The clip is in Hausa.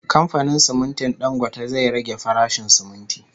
Kamfanin simintin Dangote zai rage farashin siminti